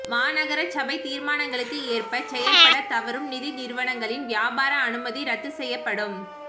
மாநகரசபைத் தீர்மானங்களுக்கு ஏற்ப செயற்படத் தவறும் நிதி நிறுவனங்களின் வியாபார அனுமதி இரத்துச் செய்யப்படும்